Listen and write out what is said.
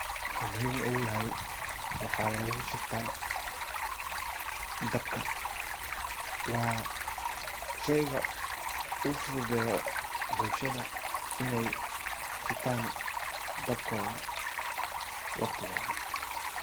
Wuxuu muhim ugu yahay waxa lagu shitaa dabka. Waa sheyga uu fududeyo bulshada iney shitan dabkoda waqti walbo.